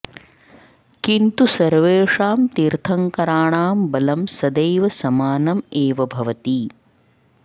किन्तु सर्वेषां तीर्थङ्कराणां बलं सदैव समानम् एव भवति